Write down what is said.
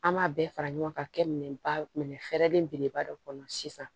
An b'a bɛɛ fara ɲɔgɔn kan ka kɛ minɛn ba minɛ fɛɛrɛlen beleba dɔ kɔnɔ sisan